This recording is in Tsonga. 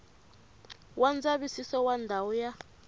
wa ndzavisiso wa ndhawu ya